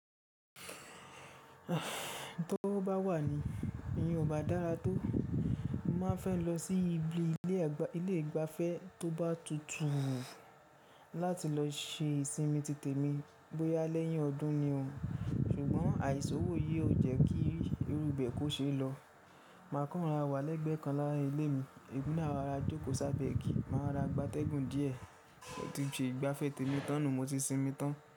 Tó bá wà ní, ìyẹn ò bá dára tó. Mo máa fẹ́ lọ sí ibi ilé ìgbafẹ́ tó bá tutù láti lọ ṣe ìsinmi tìtẹ̀mi bóyá lẹ́yìn ọdún ni òun, ṣùgbọ́n àìsòwò yìí ò jẹ́ kí irúbẹ̀ kò ṣe é lọ. Màá kọ́ran wà lẹ́gbẹ̀ẹ́ kan láàrin ilé mi, èémí náà máa ra jókòó sábẹ́ igi, màá ra gbátẹ́gùn díẹ̀, mo tí ṣe gbafẹ́ teni tán, mo ti sinmi tán.